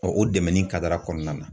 o dɛmɛni kɔnɔna na.